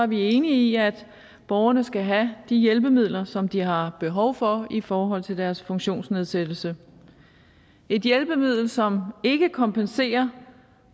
vi enige i at borgerne skal have de hjælpemidler som de har behov for i forhold til deres funktionsnedsættelse et hjælpemiddel som ikke kompenserer